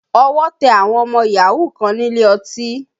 Ọwọ́ tẹ àwọn ọmọ yahoo kan nílé ọtí